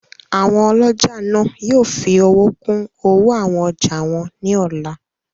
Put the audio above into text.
Àwọn ọlọ́jà náà yóò fi owó kún owó àwọn ọjà wọn ní ọ̀la